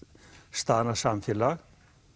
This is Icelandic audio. staðnað samfélag